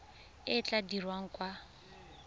e e tla dirwang kwa